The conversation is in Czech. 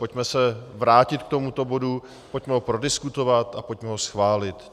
Pojďme se vrátit k tomuto bodu, pojďme ho prodiskutovat a pojďme ho schválit.